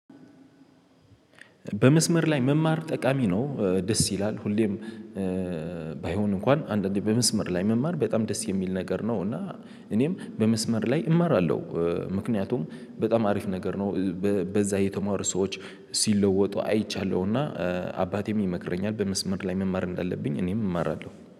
በመስመር ላይ መማር ጠቃሚ ነው። ደስ ይላል ሁሌም። ባይሆን እንኳን አንዳንዴ በመስመር ላይ መማር በጣም ደስ የሚል ነገር ነው። እና እኔም በመስመር ላይ እማራለሁ። ምክንያቱም በጣም አሪፍ ነገር ነው። በዛ የተማሩ ሰዎች ሲለወጡ አይቻለሁና። አባቴም ይመክረኛል በመስመር ላይ መማር እንዳለብኝ እኔም እማራለሁ